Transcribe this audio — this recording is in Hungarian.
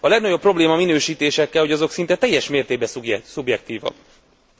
A legnagyobb probléma a minősítésekkel, hogy azok szinte teljes mértékben szubjektívak